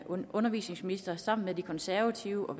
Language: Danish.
var undervisningsminister som sammen med de konservative og